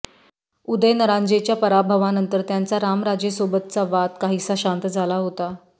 उदयनराजेंच्या पराभवानंतर त्यांचा रामराजेंसोबतचा वाद काहीसा शांत झाला होता